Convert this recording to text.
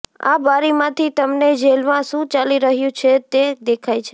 આ બારીમાંથી તમને જેલમાં શુ ચાલી રહ્યુ છે તે દેખાય છે